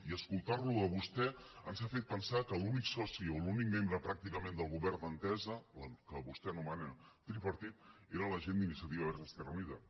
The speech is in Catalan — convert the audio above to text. i escoltar lo a vostè ens ha fet pensar que l’únic soci o l’únic membre pràcticament del govern d’entesa el que vostè anomena tripartit era la gent d’iniciativa verds esquerra unida